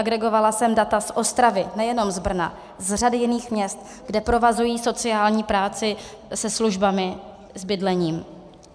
Agregovala jsem data z Ostravy, nejenom z Brna, z řady jiných měst, kde provazují sociální práci se službami, s bydlením.